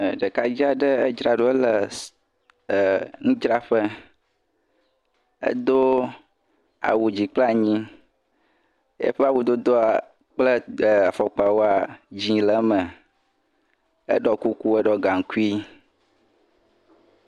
ɛɛ ɖekadze aɖe edzra ɖo le nudzraƒe. Edo awu dzi kple anyi. Eƒe awudodoa kple afɔkpawoa, dzɛ̃ le eme. Eɖɔ kuku, Eɖɔ gaŋkui